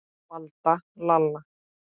Valda, Lalla.